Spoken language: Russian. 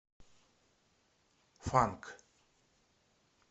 фанк